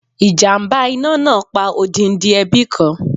Ìjàmbá iná náà pa odindi ẹbí kan.